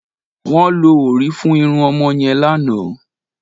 Wọ́n lo òrí fún irun ọmọ yẹn lánàá